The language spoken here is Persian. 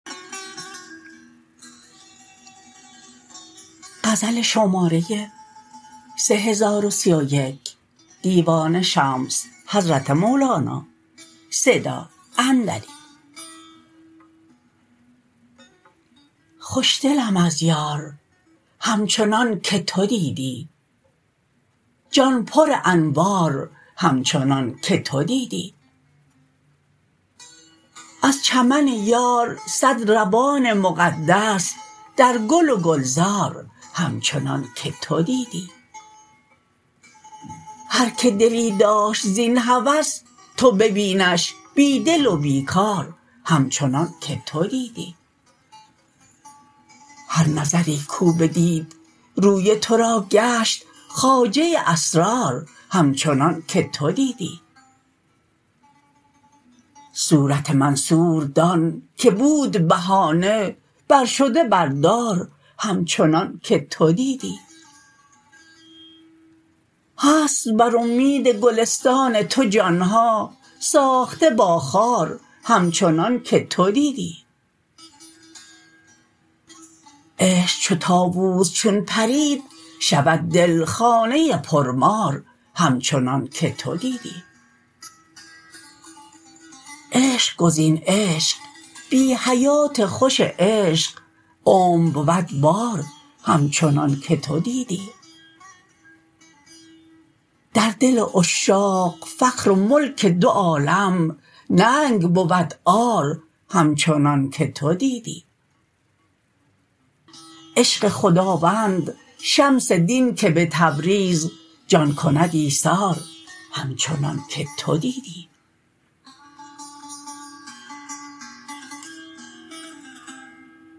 خوشدلم از یار همچنانک تو دیدی جان پرانوار همچنانک تو دیدی از چمن یار صد روان مقدس در گل و گلزار همچنانک تو دیدی هر کی دلی داشت زین هوس تو ببینش بی دل و بی کار همچنانک تو دیدی هر نظری کو بدید روی تو را گشت خواجه اسرار همچنانک تو دیدی صورت منصور دانک بود بهانه برشده بر دار همچنانک تو دیدی هست بر اومید گلستان تو جان ها ساخته با خار همچنانک تو دیدی عشق چو طاووس چون پرید شود دل خانه پرمار همچنانک تو دیدی عشق گزین عشق بی حیات خوش عشق عمر بود بار همچنانک تو دیدی در دل عشاق فخر و ملک دو عالم ننگ بود عار همچنانک تو دیدی عشق خداوند شمس دین که به تبریز جان کند ایثار همچنانک تو دیدی